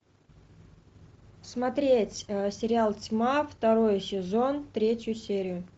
смотреть сериал тьма второй сезон третью серию